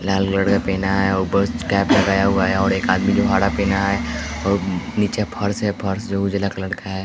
लाल colour का पेहना है ऊपर कैप लगाया हुआ है और एक आदमी जो हाड़ा पिना है और नीचे फर्श है फर्श जो उजला कलर का है।